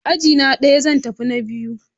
Ajina ɗaya, zan tafi na biyu